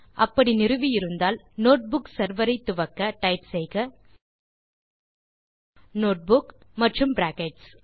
அப்படி நிறுவி இருந்தால் நோட்புக் செர்வர் ஐ துவக்க டைப் செய்க நோட்புக் மற்றும் பிராக்கெட்ஸ்